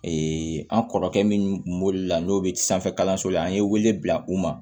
an kɔrɔkɛ min la n'o be sanfɛ kalanso la an ye wele bila u ma